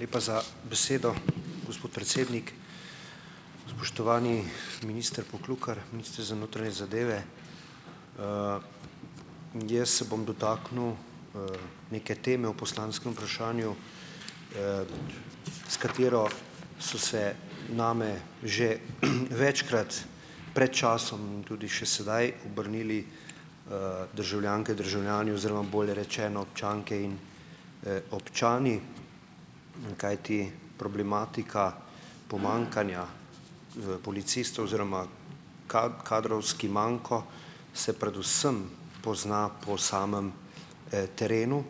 ... lepa za besedo, gospod predsednik. Spoštovani minister Poklukar, minister za notranje zadeve, jaz se bom dotaknil, neke teme v poslanskem vprašanju, s katero so se name že, večkrat pred časom in tudi še sedaj, obrnili, državljanke, državljani oziroma bolje rečeno občanke in, občani, kajti problematika pomanjkanja, policistov oziroma kadrovski manko, se predvsem pozna po samem, terenu,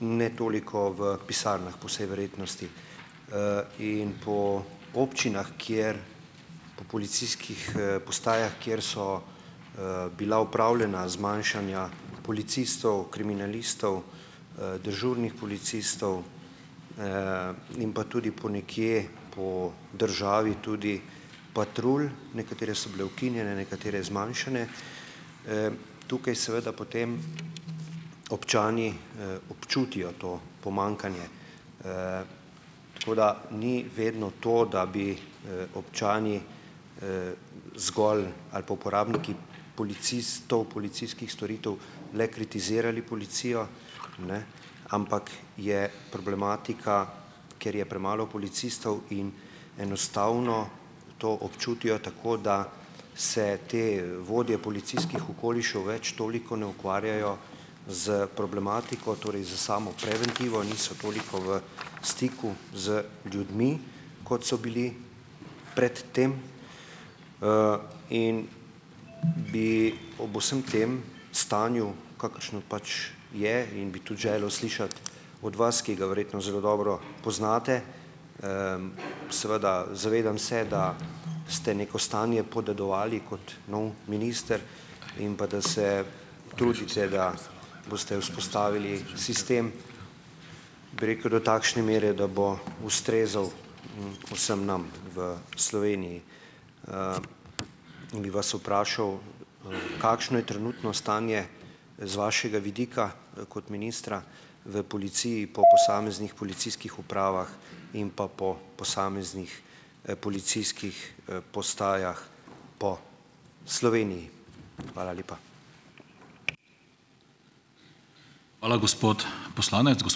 ne toliko v pisarnah po vsej verjetnosti. In po občinah, kjer po policijskih, postajah, kjer so, bila opravljena zmanjšanja policistov, kriminalistov, dežurnih policistov, in pa tudi ponekje po državi tudi patrulj. Nekatere so bile ukinjene, nekatere zmanjšane, tukaj seveda potem občani, občutijo to pomanjkanje, tako da ni vedno to, da bi, občani, zgolj ali pa uporabniki policistov, policijskih storitev, le kritizirali policijo, ne, ampak je problematika, ker je premalo policistov, in enostavno to občutijo tako, da se te vodje policijskih okolišev več toliko ne ukvarjajo s problematiko, torej s samo preventivo, niso toliko v stiku z ljudmi, kot so bili pred tem, in bi ob vsem tem stanju, kakršno pač je, in bi tudi želel slišati od vas, ki ga verjetno zelo dobro poznate. Seveda, zavedam se, da ste neko stanje podedovali kot nov minister in pa da se trudite, da boste vzpostavili sistem, bi rekel, do takšne mere, da bo ustrezal, vsem nam v Sloveniji. Bi vas vprašal, kakšno je trenutno stanje z vašega vidika, kot ministra v policiji po posameznih policijskih upravah in pa po posameznih, policijskih, postajah po Sloveniji. Hvala lepa.